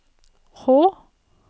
H